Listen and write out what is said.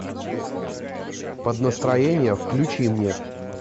под настроение включи мне